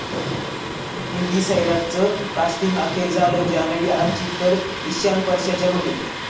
हिंदी 'सैराट'चं कास्टिंग अखेर झालं, जान्हवी 'आर्ची', तर इशान परशाच्या भूमिकेत!